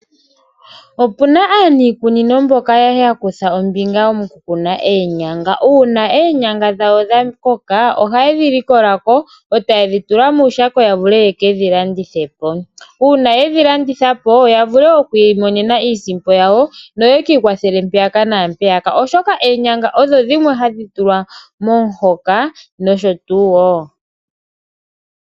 Opuna aaniikunino mboka yakutha ombinga moku kuna oonyanga, uuna oonyanga dhawo dhakoka ohaye ndhi likola ko eetaaye ndhi tula muushako yavule yekedhilandithe po. Uuna yendhi landitha po yavule okwiimonena iisimpo yawo noyekiikwathele mpoka naampeyaka oshoka oonyanga odho dhimwe handhi tulwa momuhoka nosho tuu woo.